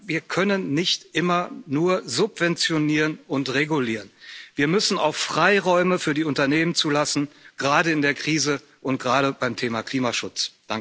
Wir können nicht immer nur subventionieren und regulieren, wir müssen auch Freiräume für die Unternehmen zulassen, gerade in der Krise und gerade beim Thema Klimaschutz.